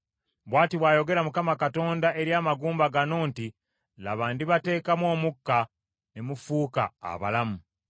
Bw’ati bw’ayogera Mukama Katonda eri amagumba gano nti, Laba ndibateekamu omukka ne mufuuka abalamu.